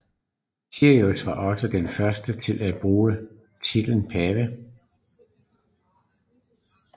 Siricius var også den første til at bruge titlen pave